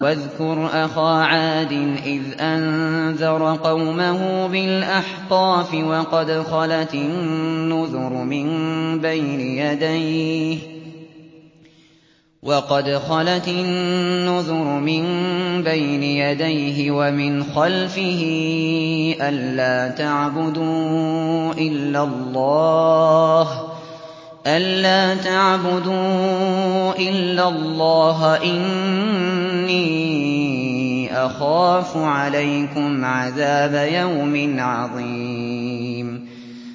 ۞ وَاذْكُرْ أَخَا عَادٍ إِذْ أَنذَرَ قَوْمَهُ بِالْأَحْقَافِ وَقَدْ خَلَتِ النُّذُرُ مِن بَيْنِ يَدَيْهِ وَمِنْ خَلْفِهِ أَلَّا تَعْبُدُوا إِلَّا اللَّهَ إِنِّي أَخَافُ عَلَيْكُمْ عَذَابَ يَوْمٍ عَظِيمٍ